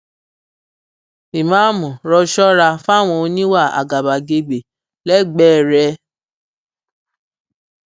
ìmáàmù rọ ṣọra fáwọn oníwà àgàbàgebè lẹgbẹẹ rẹ